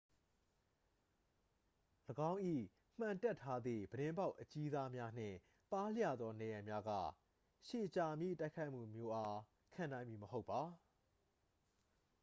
၎င်း၏ မှန်တပ်ထားသည့် ပြတင်းပေါက်အကြီးစား များနှင့် ပါးလျသော နံရံများက ရှည်ကြာမည့်တိုက်ခိုက်မှုမျိုးအား ခံနိုင်မည် မဟုတ်ပါ